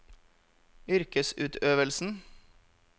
yrkesutøvelsen